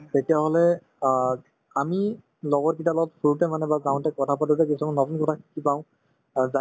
তেতিয়াহলে অ আমি লগৰ কিটাৰ লগত ফুৰোতে মানে বা গাঁৱতে কথা পাতোতে কিছুমান নতুন কথা শিকি পাওঁ অ